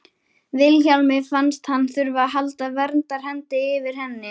Vilhjálmi fannst hann þurfa að halda verndarhendi yfir henni.